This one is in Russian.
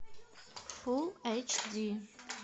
фулл эйч ди